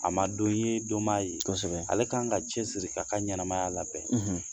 A ma don ye don m'a ye, kosɛbɛ, ale kan k'a cɛsiri k'a ka ɲɛnɛmaya labɛn